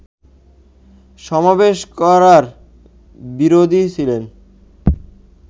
সমাবেশ করার বিরোধী ছিলেন